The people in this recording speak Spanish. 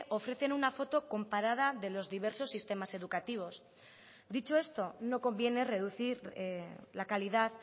ofrecen una foto comparada de los diversos sistemas educativos dicho esto no conviene reducir la calidad